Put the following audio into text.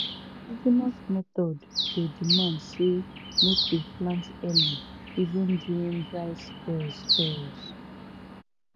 indigenous methods dey demand say make we plant early even during dry spells spells